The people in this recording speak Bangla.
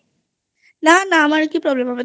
না না আমরা কি আবার Problem হবে